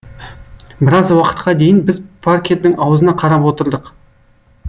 біраз уақытқа дейін біз паркердің аузына қарап отырдық